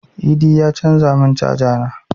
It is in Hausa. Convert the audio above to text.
Idi ya canza mun caza na